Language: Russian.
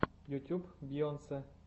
ютуб бейонсе